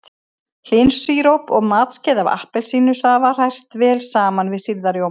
Hlynsíróp og matskeið af appelsínusafa hrært vel saman við sýrða rjómann.